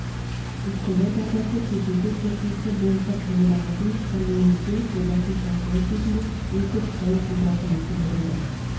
босқындар дағдарысы кездесу қорытындысы бойынша қабылданатын коммюнике жобасын талқылау кезінде ең көп дау тудырған мәселе болды